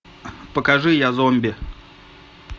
покажи я зомби